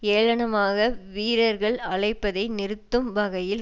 ஏளனமாக வீரர்கள் அழைப்பதை நிறுத்தும் வகையில்